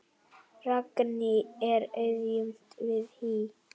Ragný er aðjunkt við HÍ.